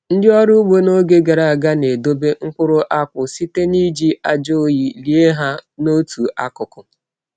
Ndị ọrụ ugbo n’oge gara aga na-edobe nkpuru akpụ site n’iji ájá oyi lie ha n’otu akụkụ.